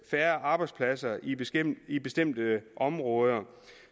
færre arbejdspladser i bestemte i bestemte områder